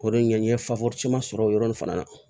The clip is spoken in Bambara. O de ye n ye sɔrɔ o yɔrɔnin fana na